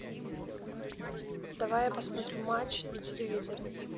давай я посмотрю матч на телевизоре